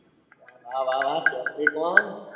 વાહ વાહ વાહ capricon